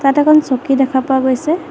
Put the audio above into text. তাত এখন চকী দেখা পোৱা গৈছে।